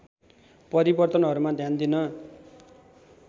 परिवर्तनहरूमा ध्यान दिन